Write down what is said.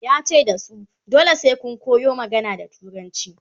yace da su "dole sai Kun yo magana da turanci"